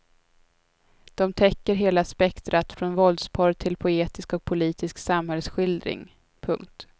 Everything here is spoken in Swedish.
De täcker hela spektrat från våldsporr till poetisk och politisk samhällsskildring. punkt